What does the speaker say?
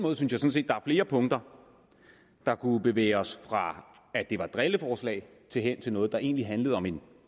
er flere punkter der kunne bevæge os fra at det var et drilleforslag hen til noget der egentlig handlede om en